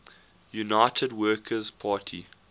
united workers party